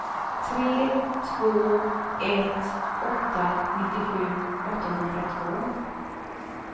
tre två ett åtta nittiosju åttahundratvå